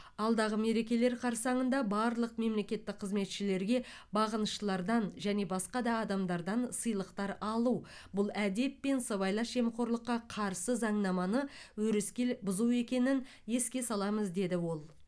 алдағы мерекелер қарсаңында барлық мемлекеттік қызметшілерге бағыныштылардан және басқа да адамдардан сыйлықтар алу бұл әдеп пен сыбайлас жемқорлыққа қарсы заңнаманы өрескел бұзу екенін еске саламыз деді ол